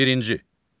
Birinci.